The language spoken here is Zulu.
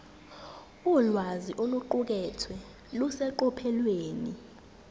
ulwazi oluqukethwe luseqophelweni